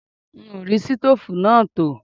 Mi ò rí ṣítòfù náà tò